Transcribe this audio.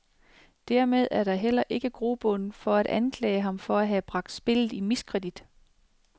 Dermed er der heller ikke grobund for at anklage ham for at have bragt spillet i miskredit.